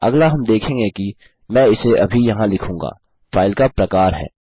अगला हम देखेंगे कि मैं उसे अभी यहाँ लिखूँगा फाइल का प्रकार है